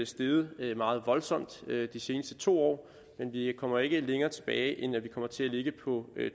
steget meget voldsomt de seneste to år men vi kommer ikke længere tilbage end at vi kommer til at ligge på